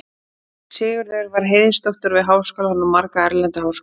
Sigurður var heiðursdoktor við Háskólann og marga erlenda háskóla.